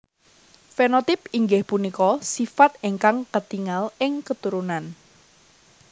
Fenotip inggih punika sifat ingkang ketingal ing keturunan